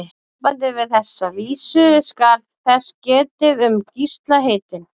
Í sambandi við þessa vísu skal þess getið um Gísla heitinn